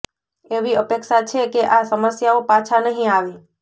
એવી અપેક્ષા છે કે આ સમસ્યાઓ પાછા નહીં આવે